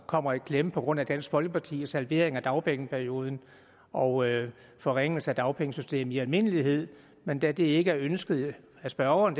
kommer i klemme på grund af dansk folkepartis halvering af dagpengeperioden og forringelse af dagpengesystemet i almindelighed men da det ikke er ønsket af spørgeren